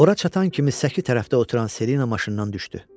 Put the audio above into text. Ora çatan kimi səki tərəfdə oturan Selina maşından düşdü.